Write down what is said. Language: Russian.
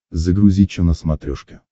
загрузи че на смотрешке